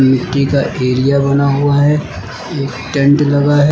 मिट्टी का एरिया बना हुआ है एक टेंट लगा है।